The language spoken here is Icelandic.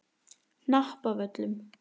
Hnappavöllum